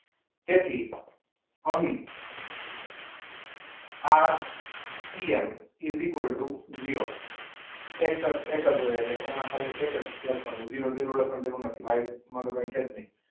તેથી અહીં RCM is equal to zero. એક જ હોય એટલે એમાં એક જ લખવાનું એમાં જીરો જીરો લખવાની જરૂર નથી. માટે આમાં તો કંઈ છે જ નહીં.